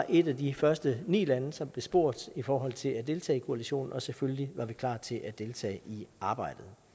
et af de første ni lande som blev spurgt i forhold til at deltage i koalitionen og selvfølgelig var vi klar til at deltage i arbejdet